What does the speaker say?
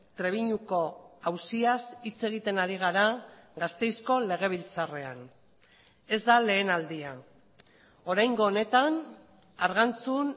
trebiñuko auziaz hitz egiten ari gara gasteizko legebiltzarrean ez da lehen aldia oraingo honetan argantzun